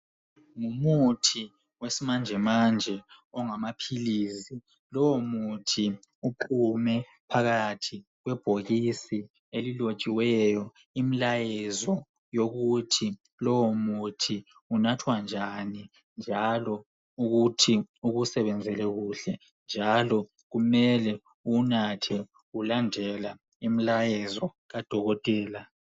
Ngumuthi wesimanje manje ongamaphilizi lowo muthi uphume phakathi kwebhokisi elilotshiweyo imilayezo yokuthi lowo muthi unathwa njani njalo ukuthi ukusebenzele kuhle njalo kumele uwunathe ulandela imilayezo kadokotela.